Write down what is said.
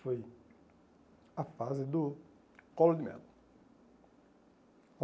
Foi a fase do colo de mel.